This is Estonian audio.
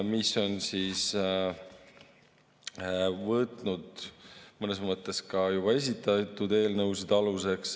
See on võtnud mõnes mõttes ka esitatud eelnõusid aluseks.